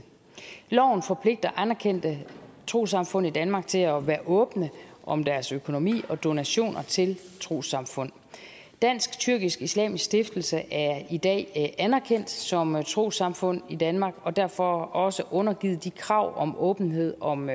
loven forpligter anerkendte trossamfund i danmark til at være åbne om deres økonomi og om donationer til trossamfund dansk tyrkisk islamisk stiftelse er i dag anerkendt som trossamfund i danmark og derfor også undergivet de krav om åbenhed om